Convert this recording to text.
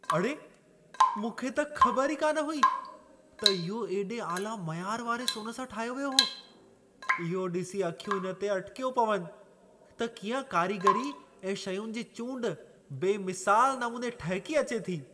अड़े! मूंखे त ख़बर ई कान हुई, त इहो एॾे आला मयार वारे सोन सां ठाहियो वियो हो। इहो ॾिसी अखियूं इन ते अटिकियो पवनि, त कीअं कारीगीरी ऐं शयुनि जी चूंड बेमिसाल नमूने ठहिकी अचे थी।